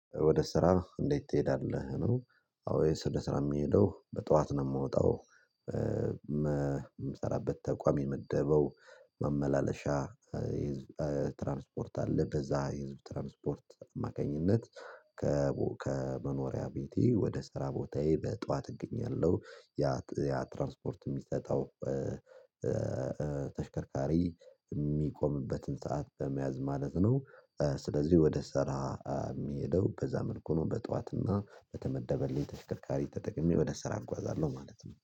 ወደ ስራ እንዴት ትሄዳለህ? ኖሮ አዎ የስደት ስራ የሚሄደው በጠዋት ነው የምወጣው የምሰራበት ተቋም የመደበው መመላለሻ ትራንስፖርት አለ በዛ የህዝብ ትራንስፖርት አማካኝነት። ከመኖሪያ ቤቴ ወደ ስራ ቦታዬ በጠዋት እገኛለሁ። ያ ያ ትራንስፖርት የሚሰጠው ተሽከርካሪ ሰዓት በመያዝ ማለት ነው። ስለዚህ ወደ ስራ የሚሄደው በዛ መልኩ ነው በጧትና በተመደበልኝ ተሽከርካሪ ተጠቅሜ በደስታ አርጓዛለሁ ማለት ነው